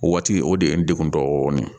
O waati o de ye n degun dɔɔni